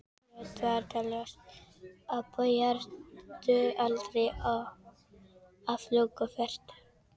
Fljótt varð það ljóst að þau yrðu aldrei aflögufær.